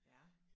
Ja